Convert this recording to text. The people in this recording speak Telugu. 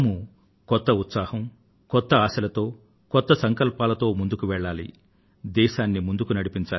మనందరం కొత్త ఉత్సాహంతో కొత్త ఆశతో కొత్త సంకల్పంతో ముందుకు సాగుదాం